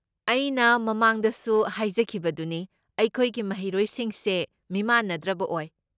ꯑꯩꯅ ꯃꯃꯥꯡꯗꯁꯨ ꯍꯥꯏꯖꯈꯤꯕꯗꯨꯅꯤ, ꯑꯩꯈꯣꯏꯒꯤ ꯃꯍꯩꯔꯣꯏꯁꯤꯡꯁꯦ ꯃꯤꯃꯥꯟꯅꯗ꯭ꯔꯕ ꯑꯣꯏ꯫